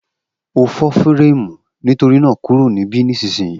O fo fírẹ́mù nítorínà kúrò ní ibí nísìsiyìí